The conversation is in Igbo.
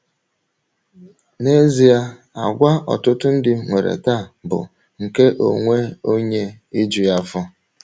N’ezie, àgwà ọtụtụ ndị nwere taa bụ nke onwe onye iju ya afọ.